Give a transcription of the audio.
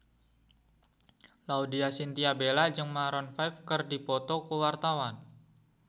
Laudya Chintya Bella jeung Maroon 5 keur dipoto ku wartawan